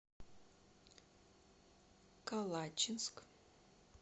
калачинск